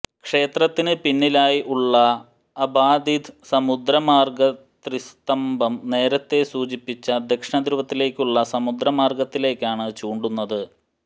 ക്ഷേത്രത്തിന് പിന്നിലായി ഉള്ള അബാധിത് സമുദ്ര മാര്ഗ്ഗ് ത്രിസ്തംഭം നേരത്തെ സൂചിപ്പിച്ച ദക്ഷിണ ധ്രുവത്തിലേക്കുള്ള സമുദ്രമാര്ഗ്ഗത്തിലേക്കാണ് ചൂണ്ടുന്നത്